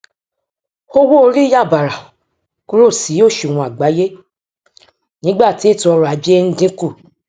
owó orí yà bààrà kúrò sí òṣùwọn àgbáyé nígbà tí ètò ọrọajé ń dínkù